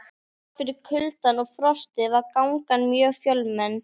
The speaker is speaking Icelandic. Þrátt fyrir kuldann og frostið var gangan mjög fjölmenn.